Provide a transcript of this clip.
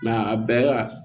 a bɛɛ la